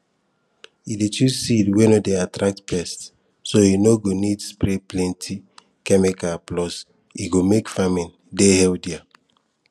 e dey choose seed wey no dey attract pests so e no go need spray plenty chemikal plus e go make farming dey healthier